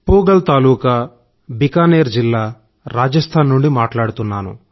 పూగల్ తాలూకా బికనేర్ జిల్లా రాజస్థాన్ నుండి మాట్లాడుతున్నాను